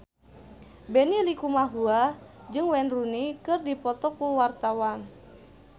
Benny Likumahua jeung Wayne Rooney keur dipoto ku wartawan